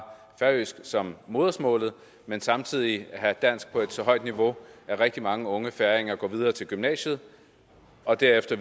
færøsk som modersmålet men samtidig at have dansk på et så højt niveau at rigtig mange unge færinger går videre til gymnasiet og derefter